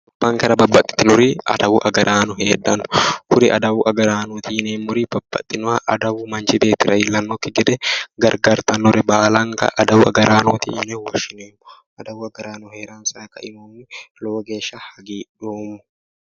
Gobbankera babbaxitinori adawu agaraano heedhanno. kuri adawu agaraanooti yineemmori babbaxinoha adawubmanchi beetiira iillannokki gede gargartannore baalanka adawu agaraanooti yine woshshinanni. adawu agaraano heeransayi kaeehunni lowo geeshsha hagiidhoommo.